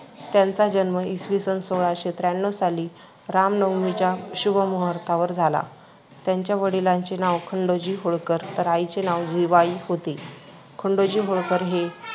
त्यांचा जन्म इसवीसन सोळाशे त्र्याण्णव साली रामनवमीच्या शुभमुहूर्तावर झाला. त्यांच्या वडिलाचे नाव खंडोजी होळकर, तर आईचे नाव जिवाई होते. खंडोजी होळकर हे